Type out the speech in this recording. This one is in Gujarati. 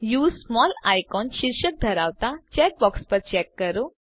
યુએસઇ સ્મોલ આઇકોન્સ શીર્ષક ધરાવતા ચેક બોક્સ પર ચેક કરો